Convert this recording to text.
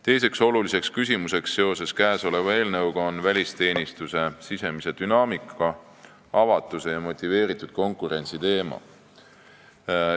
Teine eelnõuga seotud tähtis küsimus on välisteenistuse sisemise dünaamika, avatuse ja motiveeritud konkurentsi teema.